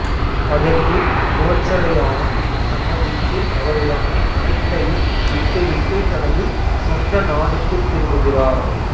அதற்கு கோச்சடையானும் சம்மதித்து அவரிடமே அனைத்தையும் விட்டுவிட்டு தனது சொந்த நாட்டுக்கு திரும்புகிறார்